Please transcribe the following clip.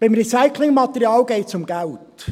Beim Recyclingmaterial geht es um Geld.